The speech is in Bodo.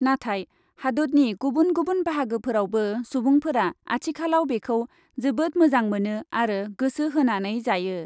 नाथाय हादतनि गुबुन गुबुन बाहागोफोरावबो सुबुंफोरा आथिखालाव बेखौ जोबोद मोजां मोनो आरो गोसो होनानै जायो ।